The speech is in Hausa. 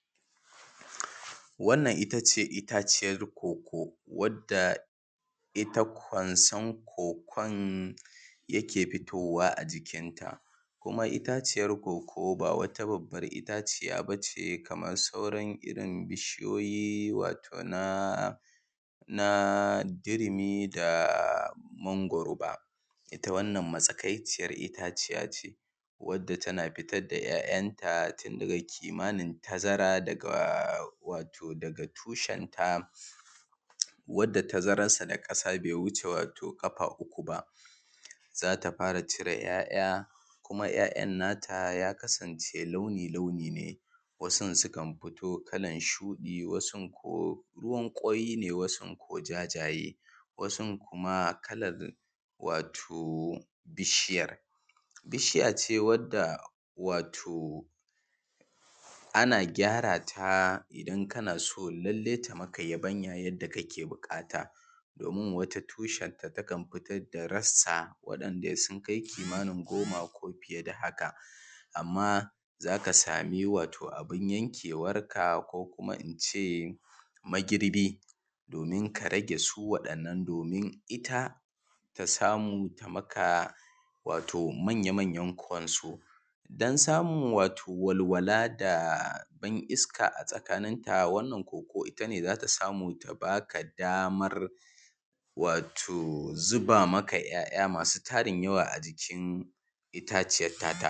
Wannan itace itaciyar cocoa, wadda ita kwanson cocoa yake fitowa a jikin ta, kuma itaciyar cocoa ba wata babbar itaciya bace kamar sauran irin bishiyoyi, wato na wato na dirimi da mangwaro ba, ita wannan matsakaiciyar itaciya ce wadda tana fitar da ‘ya’yan ta tun daga kimanin tazara daga wato daga tushen ta wadda tazarar ta da ƙasa bai wuce wato ƙafa uku ba. Zata fara cire ‘ya’ya, kuma ‘ya’yan nata ya kasance launi-launi ne, wasun sukan fito kalar shuɗi, wasun ko ruwan ƙwai ne, wasun ko jajaye, wasun kuma kalar wato bishiyar. Bishiya ce wadda wato ana gyara ta idan kana so lallai ta maka yabanya yadda kake buƙata. Domin wata tushen ta takan fitar da rassa wanda sun kai kimanin goma ko fiye da hakan, amma zaka samin wato abun yankewar ka ko kuma ince magirbi domin ka rage su waɗannan, domin ita ta samu ta maka wato manya-manyan kwanso. Don samun wato walwala da ban iska a tsakanin ta, wannan cocoa ita ne zata samu ta baka damar wato zuba maka ‘ya’ya masu tarin yawa ajikin itaciyar.